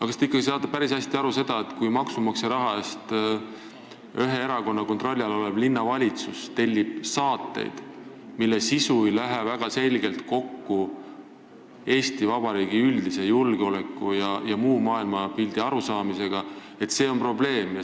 Kas te saate aga ikkagi aru sellest, et kui ühe erakonna kontrolli all olev linnavalitsus tellib maksumaksja raha eest saateid, mille sisu ei lähe väga selgelt kokku Eesti Vabariigi üldise julgeoleku- ja muu maailmapildi arusaamaga, siis see on probleem?